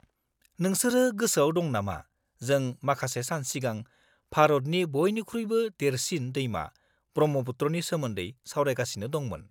-नोंसोरो गोसोआव दं नामा जों माखासे सान सिगां भारतनि बइनिख्रुइबो देरसिन दैमा ब्रह्मपुत्रनि सोमोन्दै सावरायगासिनो दंमोन?